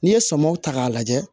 N'i ye sɔm ta k'a lajɛ